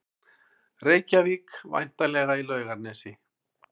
Reykjavík, væntanlega í Laugarnesi.